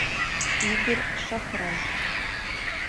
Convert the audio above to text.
игорь шахрай